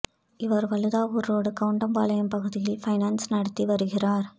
இவர் வழுதாவூர் ரோடு கவுண்டம்பாளையம் பகுதியில் பைனான்ஸ் நடத்தி வருகிறார்